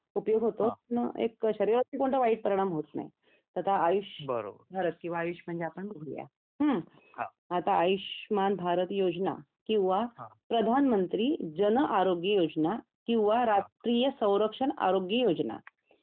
उपयोग होतो पण एक शरीरावरती कोणता वाईट परिणाम होतो नाही तर आता आयुष्यमान भारत किंवा आयुषविषयी आपण बोलूया, मग आता आयुष्मान भारत योजना, किंवा प्रधानमंत्री, जन आरोग्य योजना किंवा राष्ट्रीय संरक्षण आरोग्य योजना, ही केंद्र सरकार पुरस्कृत योजना आहे